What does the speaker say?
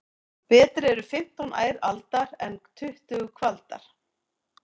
Betri eru fimmtán ær aldar en tuttugu kvaldar.